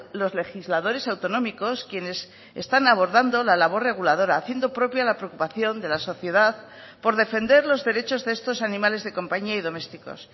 los legisladores autonómicos quienes están abordando la labor reguladora haciendo propia la preocupación de la sociedad por defender los derechos de estos animales de compañía y domésticos